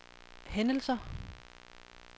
hændelser